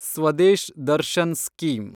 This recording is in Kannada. ಸ್ವದೇಶ್ ದರ್ಶನ್ ಸ್ಕೀಮ್